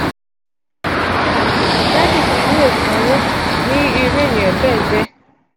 tabi "daadi ni yóó sanwo" ni iru eniyan bee je.